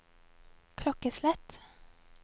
klokkeslett